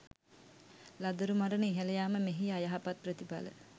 ළදරු මරණ ඉහළ යාම මෙහි අයහපත් ප්‍රතිඵල